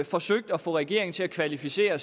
forsøgt at få regeringen til at kvalificere